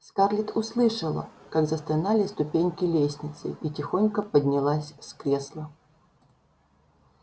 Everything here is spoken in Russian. скарлетт услышала как застонали ступеньки лестницы и тихонько поднялась с кресла